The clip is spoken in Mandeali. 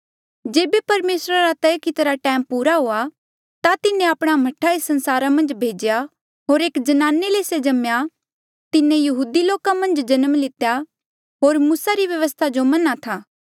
जेबे परमेसरा रा तय कितिरा टैम पूरा हुआ ता तिन्हें आपणा मह्ठा एस संसारा मन्झ भेज्या होर एक ज्नाने ले से जम्मेया तिन्हें यहूदी लोका मन्झ जन्म लितेया होर मूसा री व्यवस्था जो मन्हा था